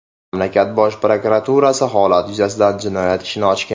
Mamlakat bosh prokuraturasi holat yuzasidan jinoyat ishini ochgan.